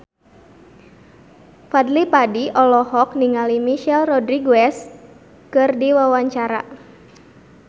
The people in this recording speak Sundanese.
Fadly Padi olohok ningali Michelle Rodriguez keur diwawancara